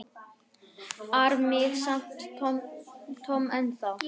ar mig samt Tom ennþá.